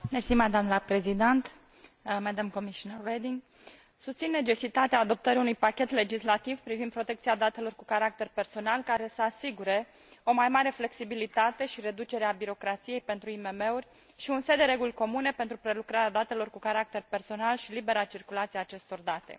Doamnă președinte, susțin necesitatea adoptării unui pachet legislativ privind protecția datelor cu caracter personal, care să asigure o mai mare flexibilitate și reducerea birocrației pentru IMM uri și un set de reguli comune pentru prelucrarea datelor cu caracter personal și libera circulație a acestor date.